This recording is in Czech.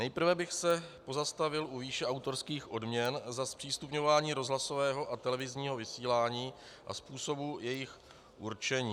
Nejprve bych se pozastavil u výše autorských odměn za zpřístupňování rozhlasového a televizního vysílání a způsobu jejich určení.